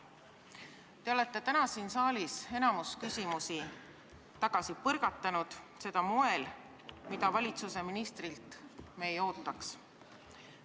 Te olete täna siin saalis enamiku küsimusi tagasi põrgatanud ja seda moel, mida me ministrilt ei ootaks.